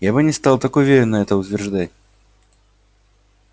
я бы не стал так уверенно это утверждать